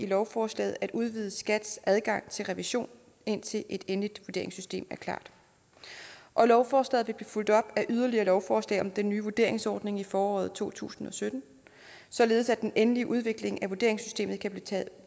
lovforslaget at udvide skats adgang til revision indtil et endeligt vurderingssystem er klar og lovforslaget vil fulgt op af yderligere lovforslag om den nye vurderingsordning i foråret to tusind og sytten således at den endelige udvikling af vurderingssystemet kan blive